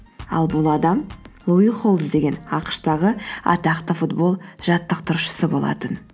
ал бұл адам луи холбс деген ақш тағы атақты футбол жаттықтырушысы болатын